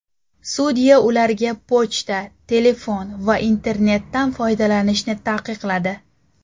Sudya ularga pochta, telefon va internetdan foydalanishni taqiqladi.